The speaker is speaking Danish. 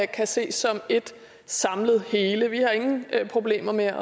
kan ses som et samlet hele i vi ingen problemer med at